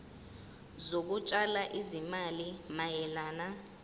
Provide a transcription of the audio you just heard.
zokutshala izimali mayelana